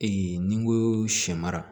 ni n ko sɛ mara